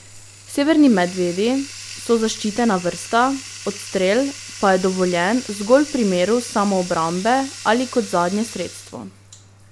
Severni medvedi so zaščitena vrsta, odstrel pa je dovoljen zgolj v primeru samoobrambe ali kot zadnje sredstvo.